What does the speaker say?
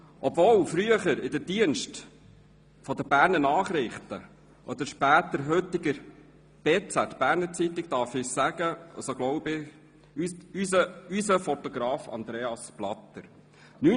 Obwohl er früher in den Diensten der «Berner Nachrichten BN», oder später der heutigen «Berner Zeitung BZ» stand, darf ich, so glaube ich, von «unserem» Fotografen Andreas Blatter sprechen.